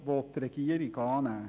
Die Regierung will ihn annehmen.